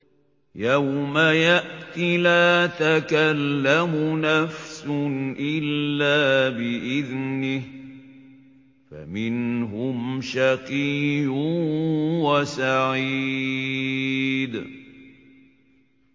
يَوْمَ يَأْتِ لَا تَكَلَّمُ نَفْسٌ إِلَّا بِإِذْنِهِ ۚ فَمِنْهُمْ شَقِيٌّ وَسَعِيدٌ